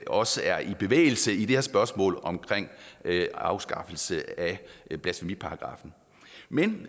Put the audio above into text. også er i bevægelse i det her spørgsmål om afskaffelse af blasfemiparagraffen men